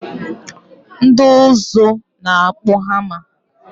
Ndị ụzụ na-akpụ hama